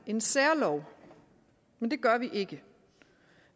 en særlov men det gør vi ikke